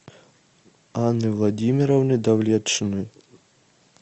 анны владимировны давлетшиной